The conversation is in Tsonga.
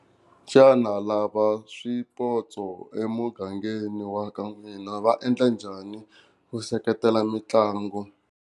Xana lava swipotso emugangeni wa ka n'wina va endla njhani ku seketela mitlangu?